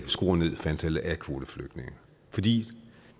ned for antallet af kvoteflygtninge fordi